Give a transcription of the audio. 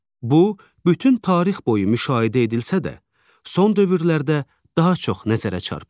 Bu, bütün tarix boyu müşahidə edilsə də, son dövrlərdə daha çox nəzərə çarpır.